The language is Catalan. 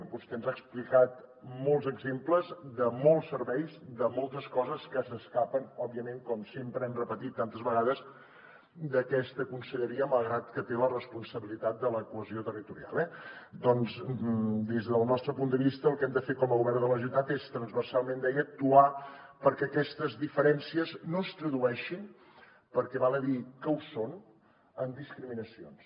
vostè ens ha explicat molts exemples de molts serveis de moltes coses que s’escapen òbviament com sempre hem repetit tantes vegades d’aquesta conselleria malgrat que té la responsabilitat de la cohesió territorial eh doncs des del nostre punt de vista el que hem de fer com a govern de la generalitat és transversalment deia actuar perquè aquestes diferències no es tradueixin perquè val a dir que ho són en discriminacions